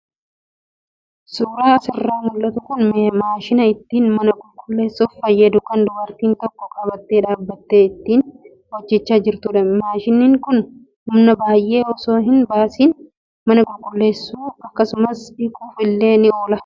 Suuraan asirraa mul'atu kun maashina ittiin mana qulqulleessuuf fayyadu kan dubartiin tokko qabattee dhaabbattee ittiin hojjataa jirtudha. Maashiniin kun humna baay'ee osoo hin baasiin mana qulleessuu akkasumas dhiquuf illee ni oola.